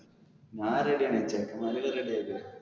ഞാൻ ready ആണ്. ചെക്കെന്മാരെ ഒക്കെ ready